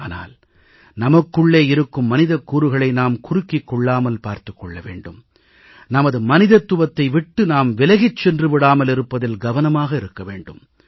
ஆனால் நமக்குள்ளே இருக்கும் மனிதக் கூறுகளை நாம் குறுக்கிக் கொள்ளாமல் பார்த்துக் கொள்ள வேண்டும் நமது மனிதத்துவத்தை விட்டு நாம் விலகிச் சென்று விடாமல் இருப்பதில் கவனமாக இருக்க வேண்டும்